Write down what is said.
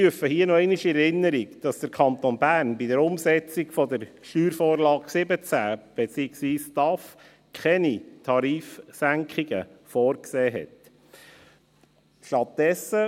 Und ich rufe hier noch einmal in Erinnerung, dass der Kanton Bern bei der Umsetzung der Steuervorlage 17 (SV17), beziehungsweise der STAF, Tarifsenkungen vorgesehen hat.